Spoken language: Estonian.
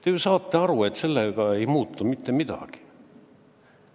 Te ju saate aru, et sellega ei muutu mitte midagi.